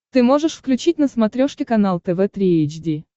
ты можешь включить на смотрешке канал тв три эйч ди